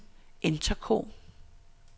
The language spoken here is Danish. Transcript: intercom